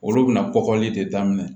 Olu bɛna kɔgɔli de daminɛ